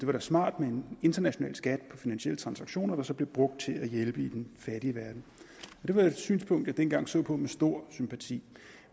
var smart med en international skat på finansielle transaktioner der så blev brugt til at hjælpe i den fattige verden det var et synspunkt jeg dengang så på med stor sympati